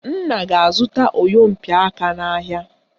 Nna ga-azụta oyompịaka n'ahịa